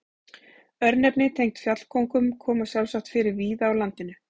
Örnefni tengd fjallkóngum koma sjálfsagt fyrir víða á landinu.